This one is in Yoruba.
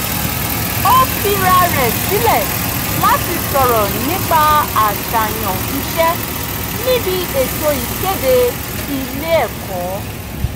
ó fira rẹ̀ sílẹ̀ láti sọ̀rọ̀ nípa àṣààyàn iṣẹ́ níbi ètò ìkéde ilé ẹ̀kọ́